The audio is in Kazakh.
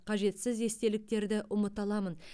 қажетсіз естеліктерді ұмыта аламын